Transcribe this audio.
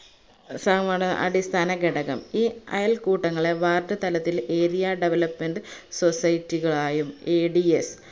അടിസ്ഥാന ഘടകം ഈ അയൽക്കൂട്ടങ്ങളെ ward തലത്തിൽ area development society കളായും ADS